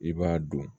I b'a dɔn